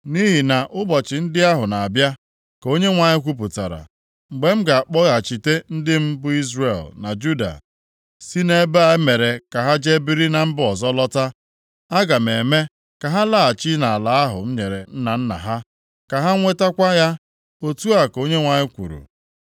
Nʼihi na ụbọchị ndị ahụ na-abịa,’ ka Onyenwe anyị kwupụtara, ‘mgbe m ga-akpọghachite ndị m bụ Izrel na Juda si nʼebe e mere ka ha jee biri na mba ọzọ lọta. Aga m eme ka ha laghachi nʼala ahụ m nyere nna nna ha, ka ha nwetakwa ya.’ Otu a ka Onyenwe anyị kwuru.”